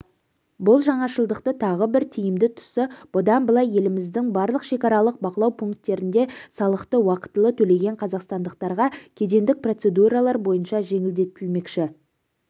бұл жаңашылдықтың тағы бір тиімді тұсы бұдан былай еліміздің барлық шекаралық бақылау пунктерінде салықты уақытылы төлеген қазақстандықтарға кедендік процедуралар барынша жеңілдетілмекші